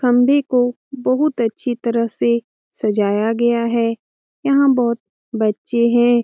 खंबे को बहुत अच्छी तरह से सजाया गया है यहां बहुत बच्चे हैं।